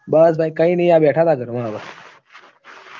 બસ ભાઈ કઈ ની આ બેઠા તા ઘરમાં હવે